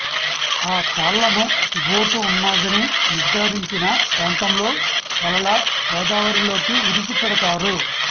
ఆ తాళ్లను బోటు ఉన్నదని నిర్థారించిన ప్రాంతంలో వలలా గోదావరిలోకి విడిచిపెడతారు